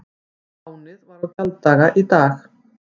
Lánið var á gjalddaga í dag